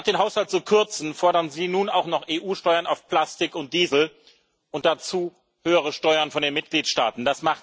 Statt den Haushalt zu kürzen, fordern Sie nun auch noch EU Steuern auf Plastik und Diesel und dazu höhere Steuern von den Mitgliedstaaten.